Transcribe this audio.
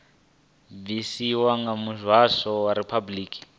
bvisiwa nga muvhuso wa riphabuliki